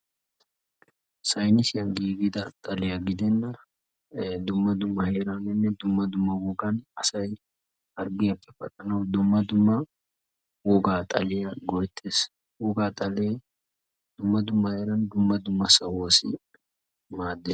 Saynissiyan giiggida xaliyaa gidenna dumma dumma heeraaninne dumma dumma wogan asay harggiyappe paxxanawu dumma dumma wogaa xaliya go'ettees, wogaa xalee dumma dumma heeran dumma dumma sahuwassi maaddees.